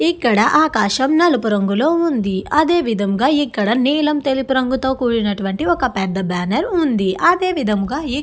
ఇక్కడ ఆకాశం నలుపు రంగులో ఉంది. అదే విధముగా ఇక్కడ నీలం తెలుపు రంగుతో కూడినటువంటి ఒక్క పెద్ద బ్యానర్ ఉంది. అదే విధముగా ఈ --